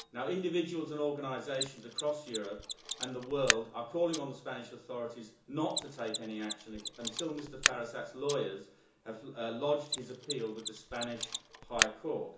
Individuals and organisations across Europe and the world are calling on the Spanish authorities not to take any action until Mr Firasat's lawyers have lodged his appeal with the Spanish High Court.